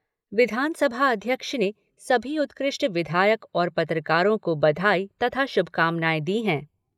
विधानसभा अध्यक्ष ने सभी उत्कृष्ट विधायक और पत्रकारों को बधाई तथा शुभकामनाएं दी हैं।